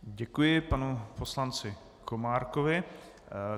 Děkuji panu poslanci Komárkovi.